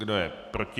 Kdo je proti?